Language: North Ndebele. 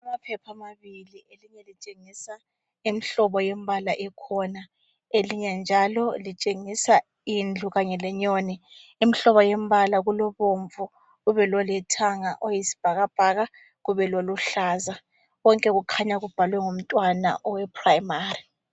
Amaphepha amabili elinye litshengisa imihlobo yembala ekhona. Elinye njalo litshengisa indlu kanye lenyoni. Imhlobo yembala kulobomvu, kube lolithanga oyosibhakabhaka kube loluhlaza. Konke kukhanya kubhalwe ngumntwana owePrimary.